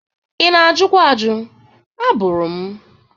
Ị na-ajụkwa ajụ, abụrụ m.